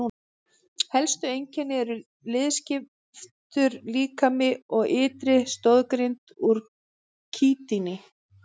Helstu einkenni eru liðskiptur líkami og ytri stoðgrind úr kítíni.